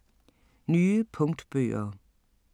Nye punktbøger